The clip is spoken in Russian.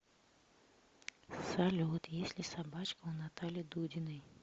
салют есть ли собачка у натальи дудиной